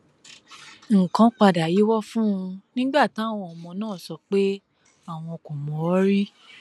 nǹkan padà yíwọ fún un nígbà táwọn ọmọ náà sọ pé àwọn kò mọ ọn rí